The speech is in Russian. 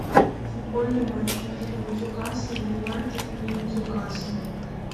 футбольный матч между ньюкасл юнайтед и ньюкасл